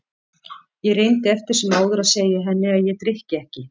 Ég reyndi eftir sem áður að segja henni að ég drykki ekki.